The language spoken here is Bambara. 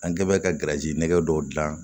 An kɛ bɛ ka nɛgɛ dɔw dilan